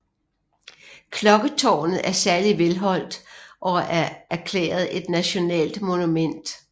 Klokketårnet er særlig velholdt og er erklæret et nationalt monument